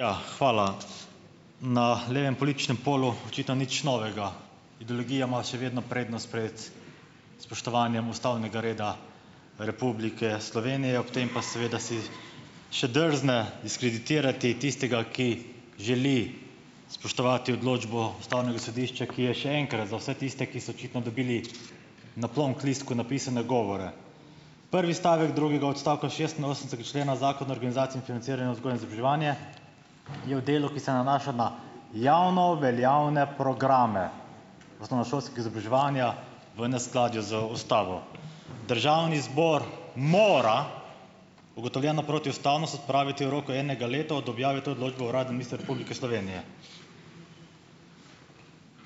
Ja, hvala. Na levem političnem polju očitno nič novega. Ideologija ima še vedno prednost pred spoštovanjem ustavnega reda Republike Slovenije, ob tem pa seveda si še drzne diskreditirati tistega, ki želi spoštovati odločbo Ustavnega sodišča, ki je, še enkrat za vse tiste, ki so očitno dobili na plonklistku napisane govore. Prvi stavek drugega odstavka šestinosemdesetega člena Zakona o organizaciji in financiranju vzgoje in izobraževanje je v delu, ki se nanaša na javno veljavne programe osnovnošolskega izobraževanja, v neskladju z Ustavo. Državni zbor mora ugotovljeno protiustavnost odpraviti v roku enega leta od objave te odločbe v Uradnem listu Republike Slovenije.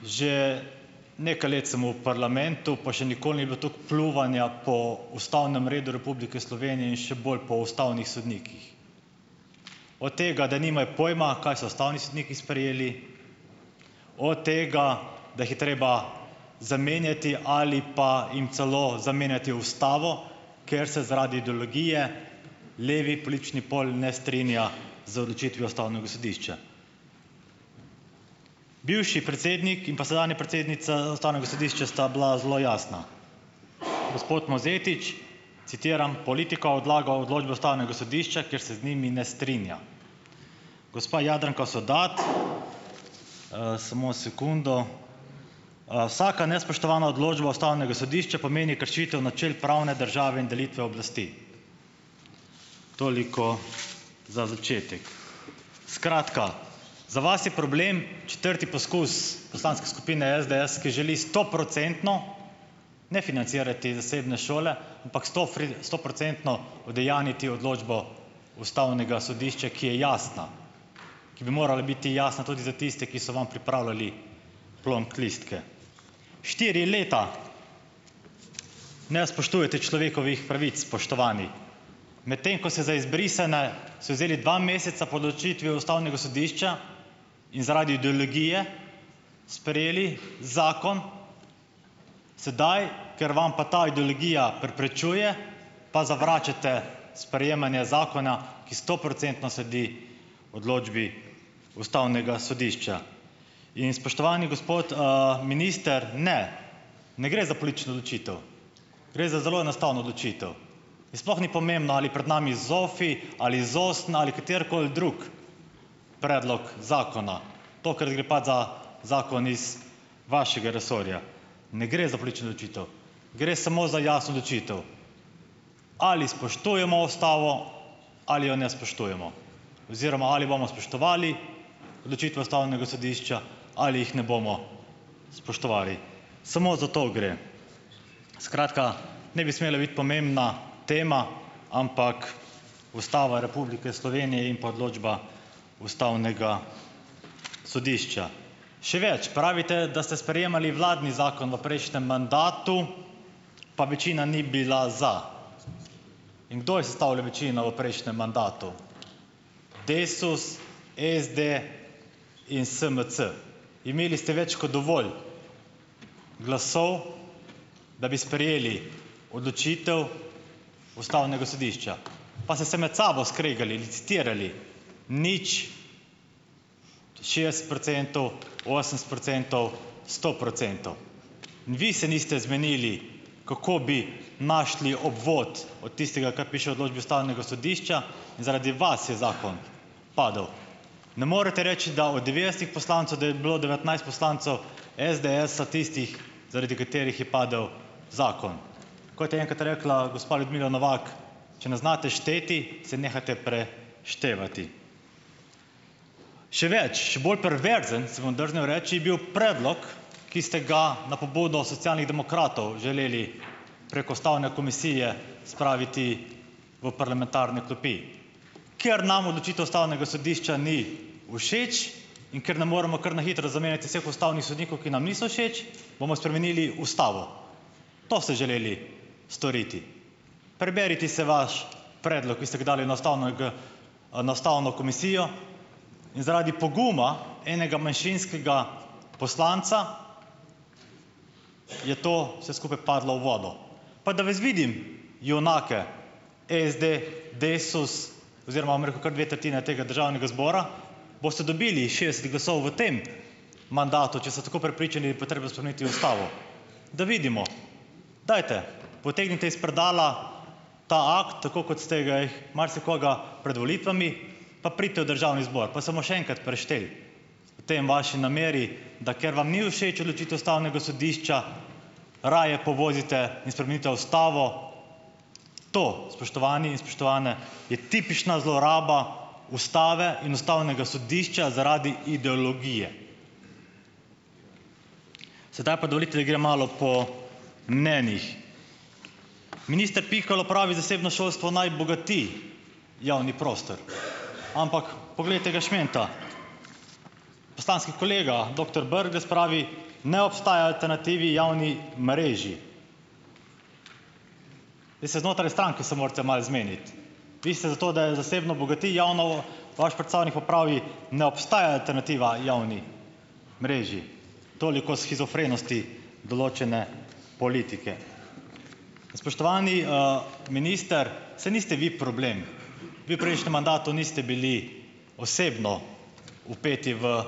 Že nekaj let sem v parlamentu, pa še nikoli ni bilo toliko pljuvanja po ustavnem redu Republike Slovenije in še bolj po ustavnih sodnikih, od tega, da nimajo pojma, kaj so ustavni sodniki sprejeli, od tega, da jih je treba zamenjati ali pa jim celo zamenjati ustavo, ker se zaradi ideologije levi politični pol ne strinja z odločitvijo Ustavnega sodišča. Bivši predsednik in pa sedanja predsednica Ustavnega sodišča sta bila zelo jasna. Gospod Mozetič, citiram: "Politika odlaga odločbe Ustavnega sodišča, kjer se z njimi ne strinja." Gospa Jadranka Sovdat: samo sekundo, "Vsaka nespoštovana odločba Ustavnega sodišča pomeni kršitev načel pravne države in delitve oblasti." Toliko za začetek. Skratka, za vas je problem četrti poskus poslanske skupine SDS, ki želi stoprocentno ne financirati zasebne šole, ampak sto stoprocentno udejanjiti odločbo Ustavnega sodišča, ki je jasna. Ki bi morala biti jasna tudi za tiste, ki so vam pripravljali plonklistke. Štiri leta ne spoštujete človekovih pravic, spoštovani. Medtem ko se za izbrisane si vzeli dva meseca po odločitvi Ustavnega sodišča in zaradi ideologije sprejeli zakon, sedaj, ker vam pa ta ideologija preprečuje, pa zavračate sprejemanje zakona, ki stoprocentno sledi odločbi Ustavnega sodišča. In spoštovani gospod minister, ne, ne gre za politično odločitev. Gre za zelo enostavno odločitev. In sploh ni pomembno, ali pred nami ZOFI ali ZOSN ali katerikoli drugi predlog zakona. Tokrat gre pač za zakon iz vašega resorja, ne gre za politično odločitev. Gre samo za jasno odločitev, ali spoštujemo Ustavo ali jo ne spoštujemo oziroma ali bomo spoštovali odločitve Ustavnega sodišča ali jih ne bomo spoštovali. Samo za to gre. Skratka ne bi smela biti pomembna tema, ampak Ustava Republike Slovenije in pa odločba Ustavnega sodišča. Še več, pravite, da ste sprejemali vladni zakon v prejšnjem mandatu, pa večina ni bila za. In kdo je sestavljal večino v prejšnjem mandatu? DESUS, SD in SMC. Imeli ste več kot dovolj glasov, da bi sprejeli odločitev Ustavnega sodišča, pa se se med sabo skregali, licitirali, nič, šestdeset procentov, osemdeset procentov, sto procentov in vi se niste zmenili, kako bi našli obvod od tistega, kar piše v odločbi Ustavnega sodišča, in zaradi vas je zakon padel. Ne morete reči, da od devetdesetih poslancev, da je bilo devetnajst poslancev SDS-a tistih, zaradi katerih je padel zakon, kot je enkrat rekla gospa Ljudmila Novak, če ne znate šteti, se nehajte pre- števati. Še več, še bolj perverzen, si bom drznil reči, je bil predlog, ki ste ga na pobudo Socialnih demokratov želeli preko Ustavne komisije spraviti v parlamentarne klopi, ker nam odločitev Ustavnega sodišča ni všeč in ker ne moremo kar na hitro zamenjati vseh ustavnih sodnikov, ki nam niso všeč, bomo spremenili Ustavo. To ste želeli storiti. Preberite se vaš predlog, ki ste ga dali na ustavno g na ustavno komisijo in zaradi poguma enega manjšinskega poslanca, je to vse skupaj padlo v vodo. Pa da vas vidim junake SD, DESUS, oziroma, bom rekel, kar dve tretjini tega državnega zbora, boste dobili šestdeset glasov v tem mandatu, če ste tako prepričani, da je potrebno spremeniti Ustavo, da vidimo, dajte, potegnite iz predala ta akt, tako kot ste ga i marsikoga pred volitvami, pa pridite v državni zbor, pa se bomo še enkrat prešteli. V tem vaši nameri, da ker vam ni všeč odločitev Ustavnega sodišča, raje povozite in spremenite Ustavo. To, spoštovani in spoštovane, je tipična zloraba Ustave in Ustavnega sodišča zaradi ideologije. Sedaj pa dovolite, da grem malo po mnenjih. Minister Pikalo pravi, zasebno šolstvo naj bogati javni prostor, ampak poglejte ga šmenta, poslanski kolega doktor Brglez pravi, ne obstajate na TV javni mreži. Zdaj se znotraj stranke se morate malo zmeniti. Vi ste za to, da je zasebno bogati javno, vaš predstavnik pa pravi, ne obstaja alternativa javni mreži. Toliko o shizofrenosti določene politike. Spoštovani minister, saj niste vi problem, vi v prejšnjem mandatu niste bili osebno vpeti v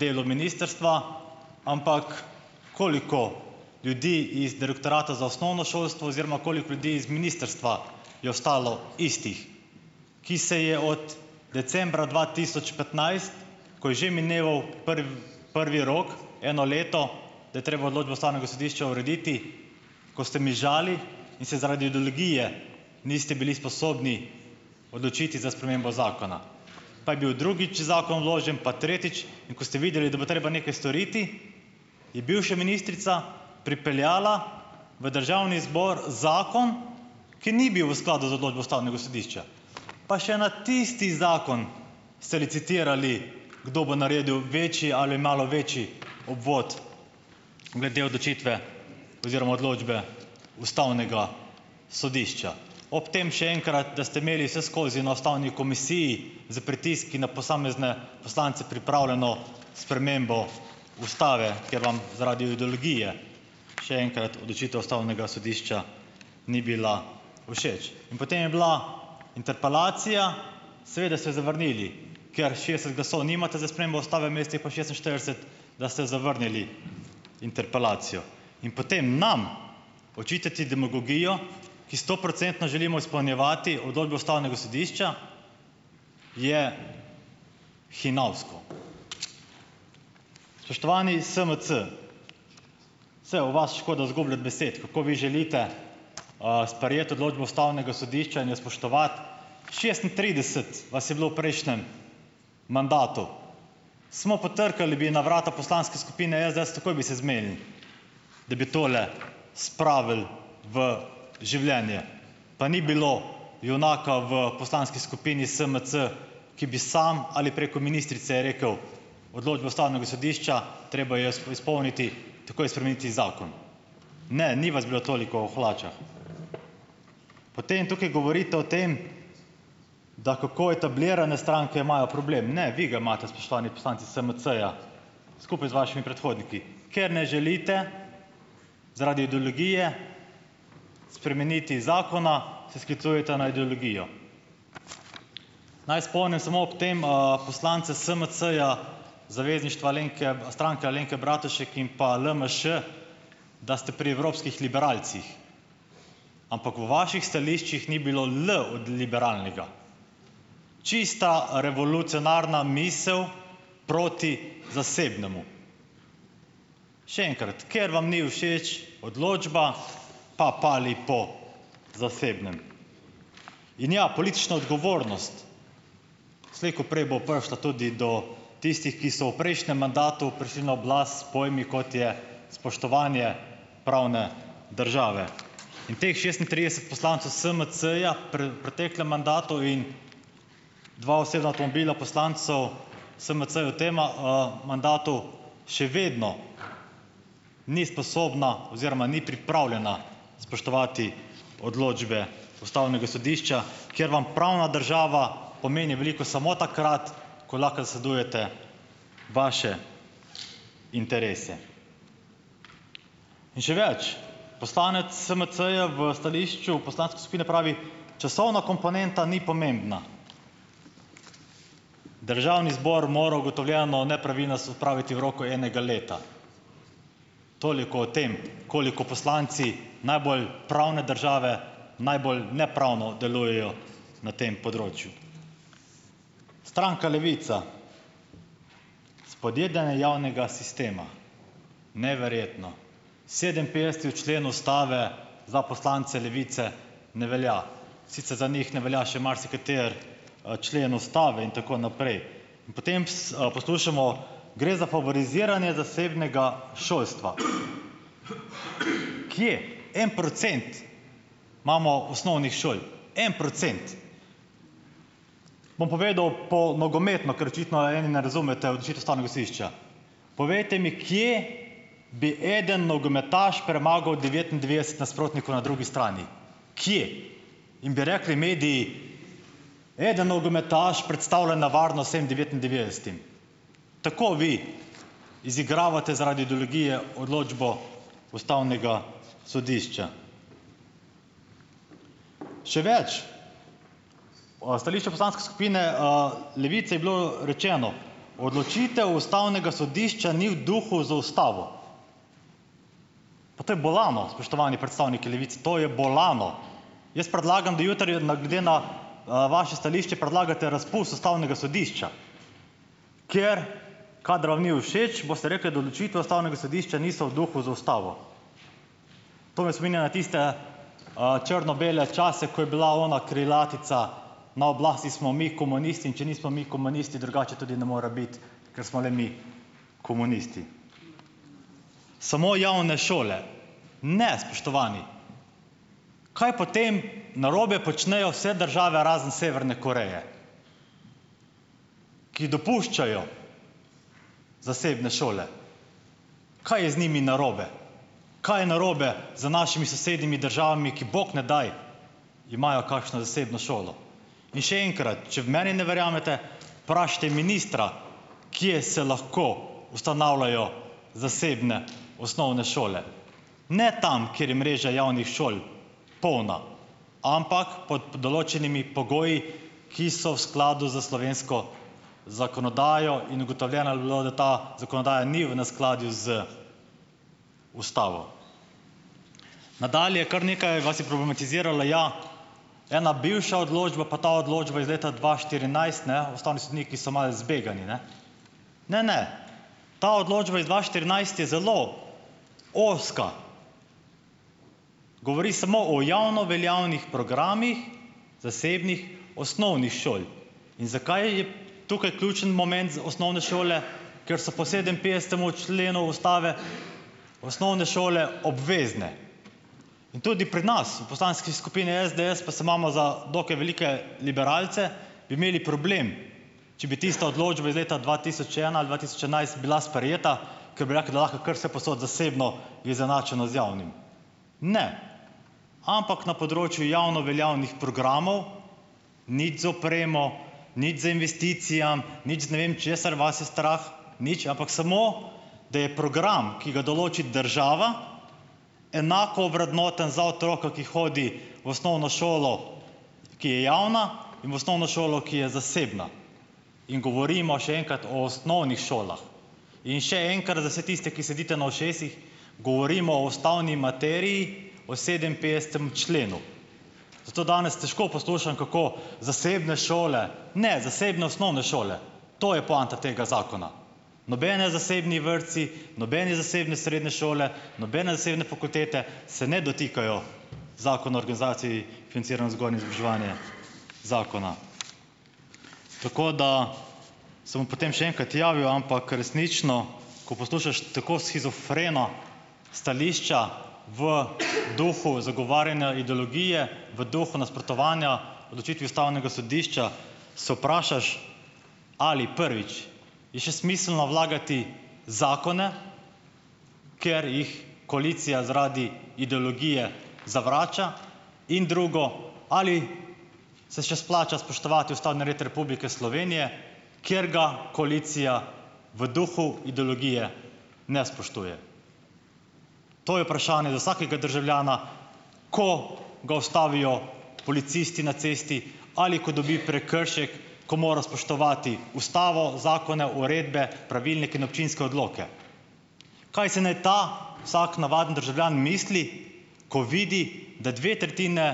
delo ministrstva, ampak koliko ljudi iz direktorata za osnovno šolstvo oziroma koliko ljudi iz ministrstva je ostalo istih, ki se je od decembra dva tisoč petnajst, ko je že mineval prvi, prvi rok, eno leto, da je treba odločbo Ustavnega sodišča urediti, ko ste mižali in se zaradi ideologije niste bili sposobni odločiti za spremembo zakona. Pa je bil drugič zakon vložen, pa tretjič in ko ste videli, da bo treba nekaj storiti, je bivše ministrica pripeljala v državni zbor zakon, ki ni bil v skladu z odločbo Ustavnega sodišča. Pa še na tisti zakon ste licitirali, kdo bo naredil večji ali malo večji obvod glede odločitve oziroma odločbe Ustavnega sodišča. Ob tem, še enkrat, da ste imeli vseskozi na ustavni komisiji s pritiski na posamezne poslance pripravljeno spremembo Ustave, kjer vam zaradi ideologije, še enkrat, odločitev Ustavnega sodišča ni bila všeč. In potem je bila interpelacija, seveda ste zavrnili, ker šestdeset glasov nimate za spremembo Ustave, mest je pa šestinštirideset, da ste zavrnili interpelacijo. In potem nam očitati demagogijo, ki stoprocentno želimo izpolnjevati odločbo Ustavnega sodišča, je hinavsko. Spoštovani is SMC. Saj o vas škoda zgubljati besed, kako vi želite sprejeti odločbo Ustavnega sodišča in jo spoštovati, šestintrideset vas je bilo v prejšnjem mandatu. Smo potrkali bi na vrata poslanske skupine SDS, takoj bi se zmenili, da bi tole spravili v življenje, pa ni bilo junaka v poslanski skupini Smc, ki bi samo ali preko ministrice rekel: "Odločba Ustavnega sodišča, treba jo izpolniti, takoj spremeniti zakon." Ne, ni vas bilo toliko v hlačah. Potem tukaj govorite o tem, da kako etablirane stranke imajo problem - ne, vi ga imate spoštovani poslanci SMC-ja, skupaj z vašimi predhodniki, ker ne želite, zaradi ideologije spremeniti zakona, se sklicujete na ideologijo. Naj spomnim samo ob tem poslance SMC-ja, zavezništva Alenke, Stranke Alenke Bratušek in pa LMŠ, da ste pri evropskih liberalcih, ampak v vaših stališčih ni bilo L od liberalnega. Čista revolucionarna misel proti zasebnemu. Še enkrat, ker vam ni všeč odločba, pa "pali" po zasebnem. In ja, politična odgovornost, slej ko prej bo prišla tudi do tistih, ki so v prejšnjem mandatu prišli na oblast s pojmi, kot je spoštovanje pravne države in teh šestintrideset poslancev SMC-ja preteklem mandatu in dva osebna avtomobila poslancev SMC v tema mandatu, še vedno ni sposobna oziroma ni pripravljena spoštovati odločbe Ustavnega sodišča, kjer vam pravna država pomeni veliko samo takrat, ko lahko zasledujete vaše interese. In še več, poslanec SMC-ja v stališču poslanske skupine pravi: "Časovna komponenta ni pomembna." Državni zbor mora ugotovljeno nepravilnost odpraviti v roku enega leta. Toliko o tem, koliko poslanci najbolj pravne države, najbolj nepravno delujejo na tem področju. Stranka Levica. Spodjedanje javnega sistema, neverjetno, sedeminpetdeseti člen ustave za poslance Levice ne velja. Sicer za njih ne velja še marsikateri člen ustave in tako naprej. In potem s poslušamo: "Gre za favoriziranje zasebnega šolstva." Kje? En procent imamo osnovnih šol, en procent. Bom povedal po nogometno, ker očitno eni ne razumete odločitev Ustavnega sodišča. Povejte mi, kje bi eden nogometaš premagal devetindvajset nasprotnikov na drugi strani? Kje? In bi rekli mediji: "Eden nogometaš predstavlja nevarnost tem devetindvajsetim." Tako vi izigravate zaradi ideologije odločbo Ustavnega sodišča. Še več, o stališču poslanske skupine Levice je bilo rečeno: "Odločitev Ustavnega sodišča ni v duhu z ustavo." Pa to je bolano, spoštovani predstavniki Levice, to je bolano. Jaz predlagam, da jutri je na, gde na vaše stališče predlagate razpust Ustavnega sodišča, ker kadar vam ni všeč, boste rekli, da odločitve Ustavnega sodišča niso v duhu z ustavo. To me spominja na tiste črno-bele čase, ko je bila ona krilatica: na oblasti smo mi, komunisti, in če nismo mi, komunisti, drugače tudi ne mora biti, ker smo le mi komunisti. Samo javne šole. Ne, spoštovani. Kaj potem narobe počnejo vse države razen Severne Koreje, ki dopuščajo zasebne šole? Kaj je z njimi narobe? Kaj je narobe z našimi sosednjimi državami, ki, bog ne daj, imajo kakšno zasebno šolo? In še enkrat, če v meni ne verjamete, vprašajte ministra, kje se lahko ustanavljajo zasebne osnovne šole. Ne tam, kjer je mreža javnih šol polna, ampak pod določenimi pogoji, ki so v skladu s slovensko zakonodajo in ugotovljeno je bilo, da ta zakonodaja ni v neskladju z ustavo. Nadalje. Kar nekaj vas je problematiziralo - ja, ena bivša odločba, pa ta odločba iz leta dva štirinajst, ne. Ustavni sodniki so malo zbegani, ne. Ne, ne, ta odločba iz dva štirinajst je zelo ozka. Govori samo o javnoveljavnih programih zasebnih osnovnih šol in zakaj je tukaj ključni moment z osnovne šole, ker so po sedeminpetdesetemu členu Ustave osnovne šole obvezne. In tudi pri nas v poslanski skupini SDS, pa se imamo za dokaj velike liberalce, bi imeli problem, če bi tista odločba iz leta dva tisoč ena ali dva tisoč enajst bila sprejeta, ker bi rekli, da lahko kar vsepovsod, zasebno je izenačeno z javnim. Ne. Ampak na področju javnoveljavnih programov, nič z opremo, nič z investicijami, nič z ne vem, česar vas je strah, nič, ampak samo, da je program, ki ga določi država, enako ovrednoten za otroka, ki hodi v osnovno šolo, ki je javna, in v osnovno šolo, ki je zasebna, in govorimo, še enkrat, o osnovnih šolah. In še enkrat, za vse tiste, ki sedite na ušesih, govorimo o ustavni materiji, o sedeminpetdesetem členu. Zato danes težko poslušam, kako zasebne šole, ne, zasebne osnovne šole. To je poanta tega zakona. Nobeni zasebni vrtci, nobene zasebne srednje šole, nobene zasebne fakultete se ne dotikajo Zakona o organizaciji financiranju vzgoje in izobraževanja. Zakona. Tako da ... Se bom potem še enkrat javil, ampak resnično, ko poslušaš tako shizofreno stališča, v duhu zagovarjanja ideologije, v duhu nasprotovanja odločitvi Ustavnega sodišča, se vprašaš, ali, prvič, je še smiselno vlagati zakone, ker jih koalicija zaradi ideologije zavrača, in drugo, ali se še splača spoštovati ustavni red Republike Slovenije, kjer ga koalicija v duhu ideologije ne spoštuje. To je vprašanje za vsakega državljana, ko ga ustavijo policisti na cesti ali ko dobi prekršek, ko mora spoštovati Ustavo, zakone, uredbe, pravilnike in občinske odloke. Kaj si naj ta vsak, navaden državljan misli, ko vidi, da dve tretjini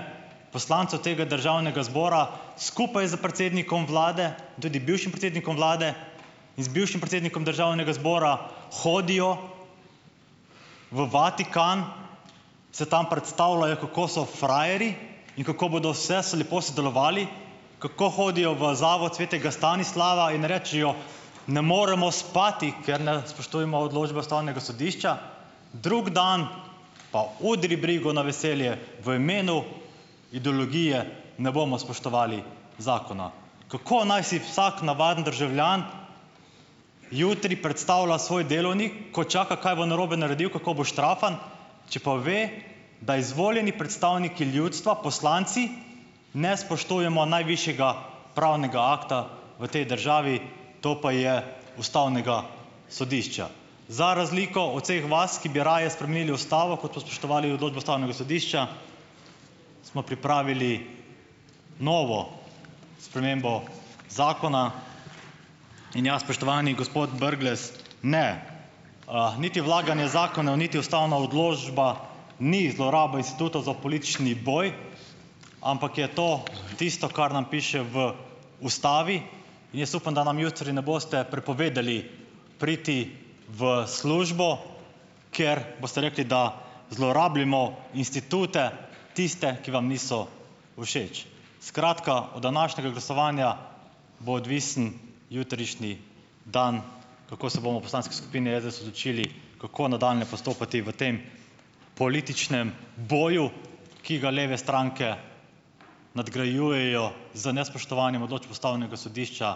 poslancev tega državnega zbora skupaj s predsednikom Vlade in tudi bivšim predsednikom Vlade in z bivšim predsednikom državnega zbora hodijo v Vatikan, se tam predstavljajo, kako so frajerji in kako bodo vse s lepo sodelovali, kako hodijo v Zavod svetega Stanislava in rečejo, ne moremo spati, ker ne spoštujemo odločbe Ustavnega sodišča. Drug dan pa udri brigu na veselje v imenu idologije ne bomo spoštovali zakona. Kako naj si vsak navaden državljan jutri predstavlja svoj delovnik, ko čaka, kaj bo narobe naredil, kako bo štrafan, če pa ve, da izvoljeni predstavniki ljudstva, poslanci, ne spoštujemo najvišjega pravnega akta v tej državi. To pa je Ustavnega sodišča. Za razliko od vseh vas, ki bi raje spremenili Ustavo, kot pa spoštovali odločbo Ustavnega sodišča, smo pripravili novo spremembo zakona. In ja, spoštovani gospod Brglez, ne, niti vlaganje zakonov niti ustavna odločba ni zloraba institutov za politični boj, ampak je to tisto, kar nam piše v Ustavi. In jaz upam, da nam jutri ne boste prepovedali priti v službo, ker boste rekli, da zlorabljamo institute, tiste, ki vam niso všeč. Skratka, od današnjega glasovanja bo odvisen jutrišnji dan, kako se bomo v poslanski skupini SDS odločili, kako nadaljnje postopati v tem političnem boju, ki ga leve stranke nadgrajujejo z nespoštovanjem odločb Ustavnega sodišča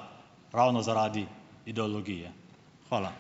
ravno zaradi ideologije. Hvala.